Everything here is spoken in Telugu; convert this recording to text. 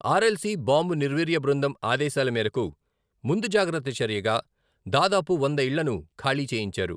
ఆర్ ఎల్ సి బాంబు నిర్వీర్య బృందం ఆదేశాల మేరకు ముందుజాగ్రత్త చర్యగా దాదాపు వంద ఇళ్లను ఖాళీ చేయించారు.